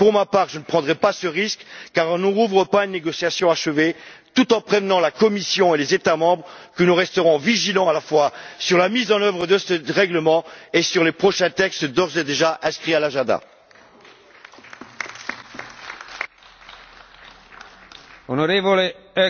Pour ma part, je ne prendrai pas ce risque car on ne rouvre pas une négociation achevée tout en prévenant la Commission et les États membres que nous resterons vigilants à la fois sur la mise en œuvre de ce règlement et sur les prochains textes d'ores et déjà inscrits à l'ordre du